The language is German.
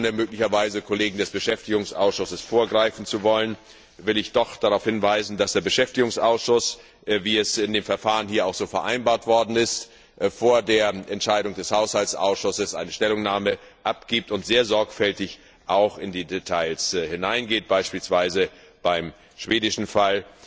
Ohne möglicherweise Kollegen des Beschäftigungsausschusses vorgreifen zu wollen, will ich doch darauf hinweisen, dass der Beschäftigungsausschuss, wie es in dem Verfahren hier auch so vereinbart worden ist, vor der Entscheidung des Haushaltsausschusses eine Stellungnahme abgibt und sehr sorgfältig auch in die Details hineingeht. Er hat beispielsweise beim schwedischen Fall